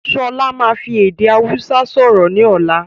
Sọlá máa fi èdè Hausa sọ̀rọ̀ ni ọ̀la